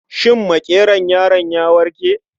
Shin makeron yaron ya warke?